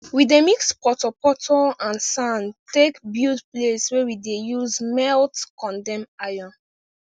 we dey mix poto poto and sand take build place wey we dey use melt condem iron